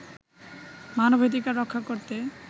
মানবাধিকার রক্ষা করতে